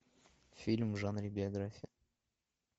фильм в жанре биография